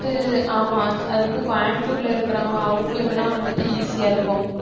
ஆமாம் அது வந்து கோயம்புத்தூர்ல இருக்கிறவங்க அவங்களுக்குனா வந்துட்டு easy ஆ இருக்கும்